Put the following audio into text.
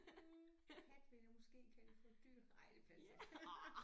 Hm kat ville jeg måske kalde for et dyr ej det passer ikke